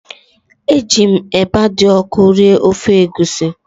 Eji m eba dị ọkụ rie ofe egusi